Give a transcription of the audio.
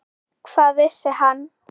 Hvað vissi hann?